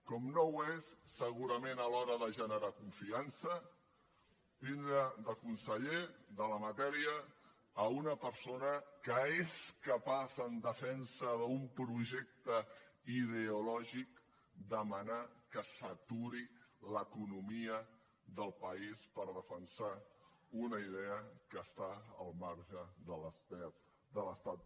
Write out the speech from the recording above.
com no ho és segurament a l’hora de generar confiança tindre de conseller de la matèria una persona que és capaç en defensa d’un projecte ideològic de demanar que s’aturi l’economia del país per defensar una idea que està al marge de l’estat del dret